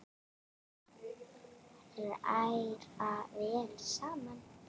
Hræra vel saman.